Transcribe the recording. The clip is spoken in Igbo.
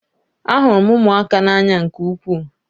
Ahụrụ m ụmụaka n'anya nke ukwuu